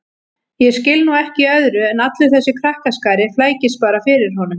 Ég skil nú ekki í öðru en allur þessi krakkaskari flækist bara fyrir honum